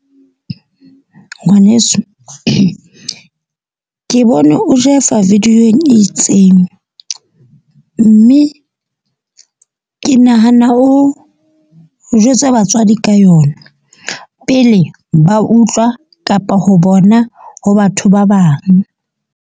Ngwaneso ke bone o jaiva video-ng e itseng. Mme ke nahana o jwetse batswadi ka yona pele ba utlwa kapa ho bona ho batho ba bang.